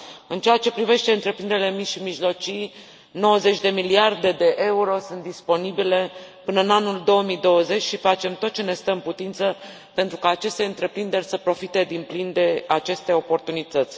În ceea ce privește întreprinderile mici și mijlocii, 90 de miliarde de euro sunt disponibile până în anul 2020 și facem tot ce ne stă în putință pentru ca aceste întreprinderi să profite din plin de aceste oportunități.